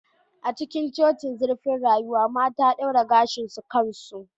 A cikin cocin zurfin rayuwa mata daura gashin su kansu